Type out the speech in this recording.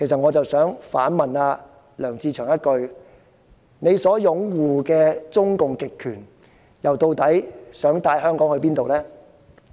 我想反問梁志祥議員，他所擁護的中共極權究竟又想帶領香港去哪裏？